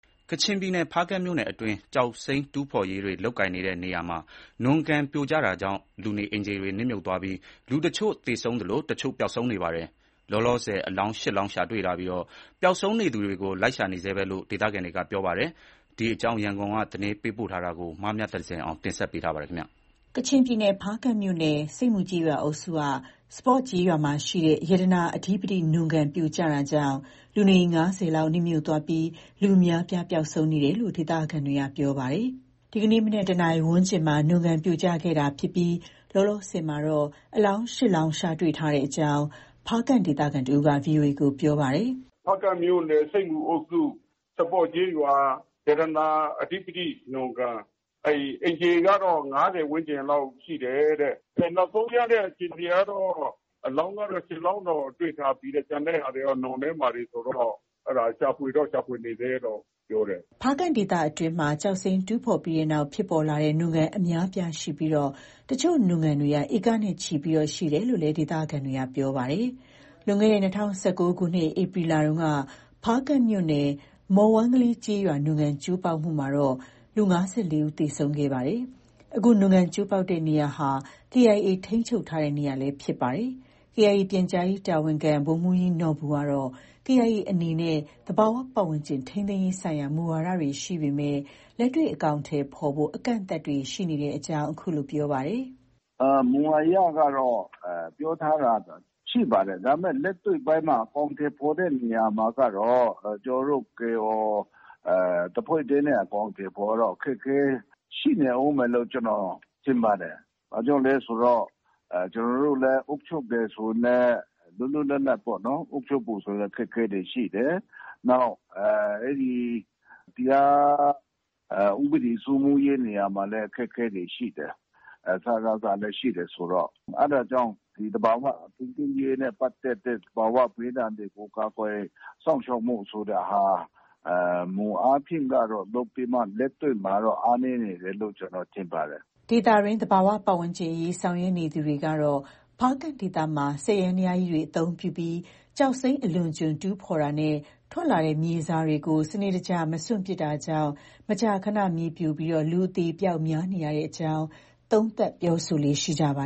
ကချင်ပြည်နယ် ဖားကန့်မြို့နယ်အတွင်း ကျောက်စိမ်းတူးဖေါ်ရေးလုပ်ကွက်တွေမှာ နွံကန်ပြိုကျလို့ လူနေအိမ်ခြေတွေနစ်မြုပ်သွားပြီး လူတချို့ သေဆုံးသလို တချို့ပျောက်ဆုံးနေပါတယ်။ လောလောဆယ် အလောင်း ၈ လောင်း ရှာတွေ့ထာပြီး ပျောက်ဆုံးနေသူတွေကို လိုက်ရှာနေဆဲပဲလို့ ဒေသခံတွေက ပြောပါတယ်။ ဒီအကြောင်း ရန်ကုန်က သတင်းပေးပို့ထားပါတယ်။ ကချင်ပြည်နယ် ဖားကန့်မြို့နယ် ဆိပ်မူကျေးရွာအုပ်စုက စပေါ့ကျေးရွာမှာရှိတဲ့ ရတနာအဓိပတိ နွံကန်ပြိုကျ တာကြောင့် လူနေအိမ် ၅၀ လောက် နစ်မြုပ်သွားပြီး လူအများအပြားပျောက်ဆုံးနေတယ်လို့ ဒေသခံတွေက ပြောပါတယ်။ ဒီနေ့မနက် တနာရီဝန်းကျင်မှာ နွံကန်ပြိုကျခဲ့ပြီ လောလောဆယ်မှာ အလောင်း ၈ လောင်း ရှာတွေ့ထားကြောင်း ဖားကန့်ဒေသခံတဦးက VOA ကို ပြောပါတယ်။ “ဖားကန့်မြို့နယ် ဆိပ်မူအုပ်စု စပေါ့ကျေးရွာ၊ ရတနာအဓိပတိနွံကန်၊ အိမ်ခြေကတော့ ၅၀ ဝန်းကျင်လောက် ရှိတယ်တဲ့။ နောက်ဆုံးရတဲ့အခြေအနေကတော့ အလောင်းကတော့ ၈ လောင်းတော့ တွေ့ထားပြီတဲ့ ။ ကျန်တဲ့ ဟာတွေကတော့ နွံထဲမှာတွေဆိုတော့ ရှာဖွေတော့ ရှာဖွေနေဆဲလို့ ပြောတယ်။” ဖားကန့်ဒေသအတွင်းမှာ ကျောက်စိမ်းတူးဖော်ပြီးနောက် ဖြစ်ပေါ်လာတဲ့ နွံကန်အများအပြားရှိနေပြီး အချို့ နွံကန်တွေက ဧကနဲ့ ချီရှိကြောင်း ဒေသခံတွေက ပြောပါတယ်။ လွန်ခဲ့တဲ့ ၂၀၁၉ ခုနှစ် ဧပြီလက ဖားကန့်မြို့နယ် မော်ဝမ်းကလေးကျေးရွာ နွံကန်ကျိုးပေါက်မှုမှာတော့ လူ ၅၄ ဦး သေဆုံးခဲ့ပါတယ်။ အခု နွံကန်ကျိုးပေါက်တဲ့ နေရာဟာ KIA ထိန်းချုပ်ထားတဲ့နေရာဖြစ်ပါတယ်။ KIA ပြန်ကြားရေးတာဝန်ခံ ဗိုလ်မှူးကြီးနော်ဘူကတော့ KIA အနေနဲ့ သဘာဝပတ်ဝန်းကျင် ထိန်းသိမ်းရေးဆိုင်ရာ မူဝါဒတွေ ရှိပေမယ့် လက်တွေ့အကောင်အထည်ဖော်ဖို့ အကန့်အသတ်တွေ ရှိနေကြောင်း အခုလို ပြောပါတယ်။ “မူအရကတော့ ပြောထားတာ ရှိပါတယ်။ ဒါပေမဲ့ လက်တွေ့ပိုင်းမှာ အကောင်အထည်ဖော်တဲ့နေရာမှာကတော့ ကျနော်တို့ KIO တဖွဲ့တည်းနဲ့ အကောင်အထည်ဖော်တာတော့ အခက်အခဲ ရှိနေအုံးမယ်လို့ ကျနော် ထင်ပါတယ်။ ဘာကြောင့်လဲဆိုတော့ ကျနော်တို့လည်း အုပ်ချုပ်တယ်ဆိုရင်လည်း လွတ်လွတ်လပ်လပ် အုပ်ချုပ်ဖို့ဆိုလည်း အခက်အခဲတွေ ရှိတယ်။ နောက် တရားဥပဒေစိုးမိုးရေး နေရာမှာလည်း အခက်အခဲတွေ ရှိတယ်။ စကစလည်း ရှိတယ်ဆိုတော့။ အဲဒါကြောင့် ဒီ သဘာ၀ ထိန်းသိမ်းရေးနဲ့ ပတ်သက်တဲ့ သဘာ၀ ဘေးဒဏ်တွေကို ကာကွယ် စောင့်ရှောက်မှုဆိုတာဟာ မူအားဖြင့်ကတော့ လုပ်ပြီးမှ လက်တွေ့ မှာကတော့ အားနည်းနေတယ်လို့ ကျနော် ထင်ပါတယ်။” ဒေသတွင်းသဘာပတ်ဝန်းကျင်အရေးဆောင်ရွက်နေသူတွေကတော့ ဖားကန့်ဒေသမှာ စက်ယန္တရားကြီးတွေ အသုံးပြုပြီး ကျောက်စိမ်း အလွန်အကျွံ တူးဖော်တာနဲ့ ထွက်လာတဲ့မြေစာတွေကို စနစ်တကျ မစွန့်ပစ်တာတွေ ကြောင့် မကြာခန မြေပြိုပြီး လူအသေအပျောက်များနေရကြောင်း သုံးသပ်ပြောဆိုလေ့ရှိပါ